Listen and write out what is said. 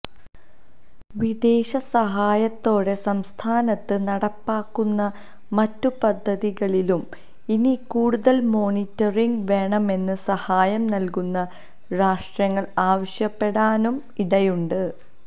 വിദേശ സഹായത്തോടെ സംസ്ഥാനത്ത് നടപ്പാക്കുന്ന മറ്റ് പദ്ധതികളിലും ഇനി കൂടുതല് മോണിറ്ററിംഗ് വേണമെന്ന് സഹായം നല്കുന്ന രാഷ്ട്രങ്ങള് ആവശ്യപ്പെടാനും ഇടയുണ്ട്